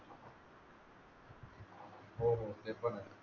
हो हो ते पण आहे